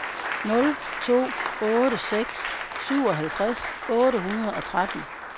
nul to otte seks syvoghalvtreds otte hundrede og tretten